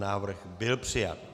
Návrh byl přijat.